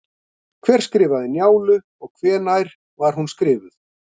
Hver skrifaði Njálu og hvenær var hún skrifuð?